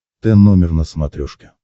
т номер на смотрешке